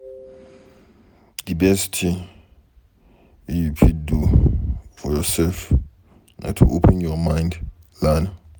De best thing wey you fit do for yourself, na to open your mind to learn.